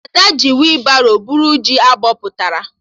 Ada ji weebaro bụrụ ji abụpụtara